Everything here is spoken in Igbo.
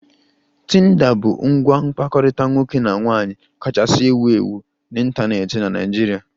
Tinder bụ ngwa mkpakọrịta nwoke na nwaanyị kachasị ewu ewu n'ịntanetị na Nigeria